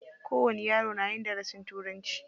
Kowani yaro yana yin darasin turanci.